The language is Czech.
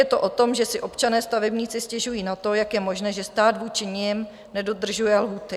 Je to o tom, že si občané stavebníci stěžují na to, jak je možné, že stát vůči nim nedodržuje lhůty.